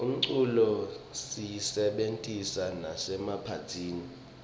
umculo siyisebentisa nasemaphathini